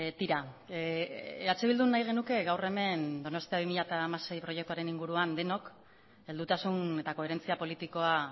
tira eh bildu nahi genuke gaur hemen donostia bi mila hamasei proiektuaren inguruan denok heldutasun eta koherentzia politikoa